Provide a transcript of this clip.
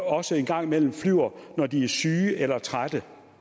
også en gang imellem flyver når de er syge eller trætte